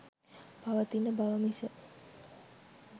පවතින බව මිස